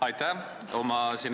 Aitäh!